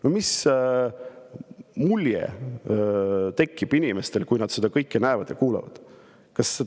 No mis mulje tekib inimestel, kui nad seda kõike näevad ja kuulevad?